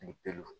Ni peluw